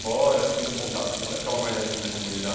fora? Vocês tinham muito contato com... Ficava mais aqui na comunidade?